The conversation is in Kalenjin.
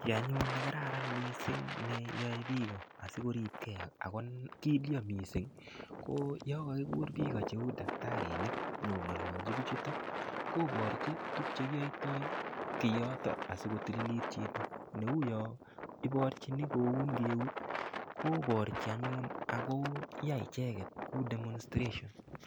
Kiy anyun nekararan mising' ne yoe piko asikoripkei ako kilyo mising' ko yo kagikur piko cheu daktarinik nyiko ng'alalji piik chutok koporchi tukchekiyoitoy kiyotok asukotililit chito neuyo iporchini koun eunek koporchi anyun ako yai icheket kou demonstration.